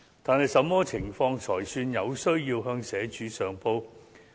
但是，甚麼情況才算"有需要"向社署上報？